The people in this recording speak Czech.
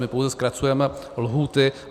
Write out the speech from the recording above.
My pouze zkracujeme lhůty.